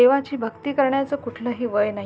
देवाची भक्ति करण्याच कुठलं ही वय नाही.